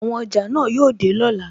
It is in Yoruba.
Àwọn ọjà náà yóò dé lọ́la.